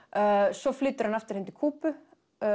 svo flytur hann aftur heim til Kúbu